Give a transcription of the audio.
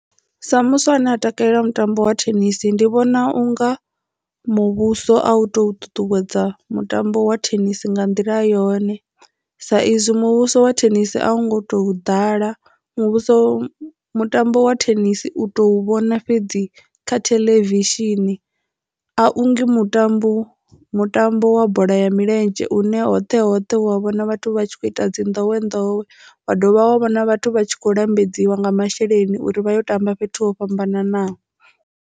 Sa muswa ane a takalela mutambo wa thenisi ndi vhona unga muvhuso a u to ṱuṱuwedza mutambo wa thenisi nga nḓila yone sa izwi muvhuso wa thenisi a u ngo to ḓala muvhuso mutambo wa thenisi u to vhona fhedzi kha theḽevishini a ungi mutambo mutambo wa bola ya milenzhe une hoṱhe hoṱhe wa vhona vhathu vha tshi kho ita dzi ndowendowe wa dovha wa vhona vhathu vha tshi kho lambedziwe nga masheleni uri vha yo tamba fhethu ho fhambananaho.